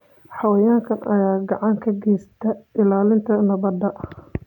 Xayawaankan ayaa gacan ka geysta ilaalinta nabadda.